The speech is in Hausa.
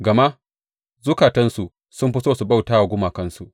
Gama zukatansu sun fi so su bauta wa gumakansu.